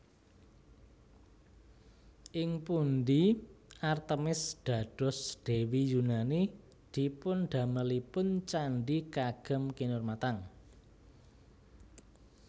Ing pundhi Artemis dados Dewi Yunani dipundamelipun candhi kagem kinurmatan